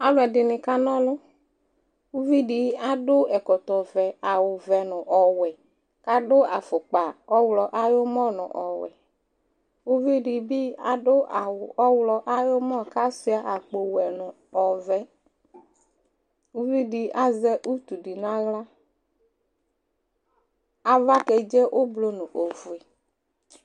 alò ɛdini kana ɔlu uvi di adu ɛkɔtɔ vɛ awu vɛ no ɔwɛ k'adu afukpa ɔwlɔ ayi umɔ no ɔwɛ uvi di bi adu awu ɔwlɔ ayi umɔ k'asua akpo wɛ no ɔvɛ uvi di azɛ utu di n'ala ava kedze ublɔ no ofue